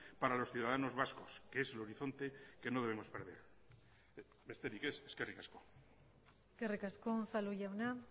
para los ciudadanos vascos que es el horizonte que no debemos perder besterik ez eskerrik asko eskerrik asko unzalu jauna